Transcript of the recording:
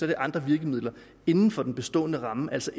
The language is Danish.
det andre virkemidler inden for den bestående ramme altså